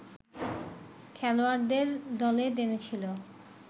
খেলোয়াড়দের দলে টেনেছিল